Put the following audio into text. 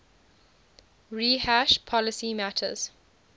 rehash policy matters